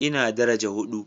Ina daraja hudu